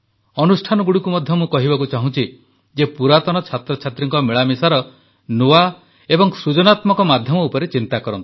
ଅନୁଷ୍ଠାନଗୁଡ଼ିକୁ ମଧ୍ୟ ମୁଁ କହିବାକୁ ଚାହୁଁଛି ଯେ ପୁରାତନ ଛାତ୍ରଛାତ୍ରୀଙ୍କ ମିଳାମିଶାର ନୂଆ ଓ ସୃଜନାତ୍ମକ ମାଧ୍ୟମ ଉପରେ ଚିନ୍ତା କରନ୍ତୁ